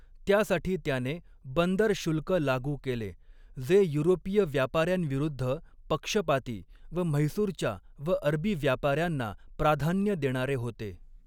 त्यासाठी त्याने बंदर शुल्क लागू केले, जे युरोपीय व्यापाऱ्यांविरुद्ध पक्षपाती व म्हैसुरच्या व अरबी व्यापाऱ्यांना प्राधान्य देणारे होते.